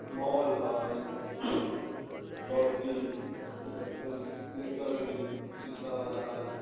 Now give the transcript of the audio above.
माल है Chaudhary election electronics शीशा वाला है|